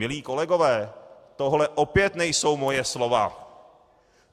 - Milí kolegové, tohle opět nejsou moje slova.